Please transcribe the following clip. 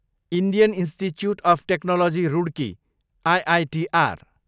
Indian Institute of Technology Roorkee, IITR